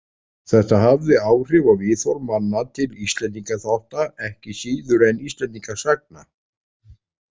Þetta hafði áhrif á viðhorf manna til Íslendingaþátta ekki síður en Íslendingasagna.